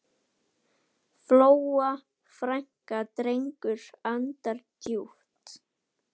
Fjóla frænka dregur andann djúpt.